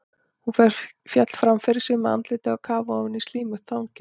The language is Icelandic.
Hún féll fram yfir sig með andlitið á kaf ofan í slímugt þangið.